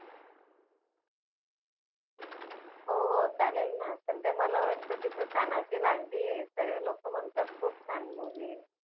हो हो चालेलना, सध्या मला वाटत तिथे तानाजी लागली आहे. सर्वे लोक म्हणतात खूप छान movie आहे.